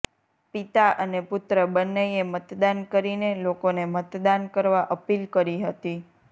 પિતા અને પુત્ર બંનેએ મતદાન કરીને લોકોને મતદાન કરવા અપીલ કરી હતી